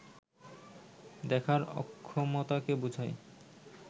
দেখার অক্ষমতাকে বুঝায়